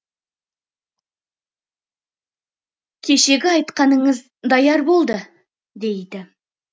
кешегі айтқаныңыз даяр болды дейді